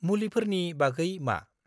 मुलिफोरनि बागै मा?